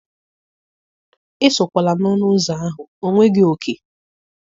Esokwala n'ọnụ ụzọ ahụ, ọ nweghị òkè.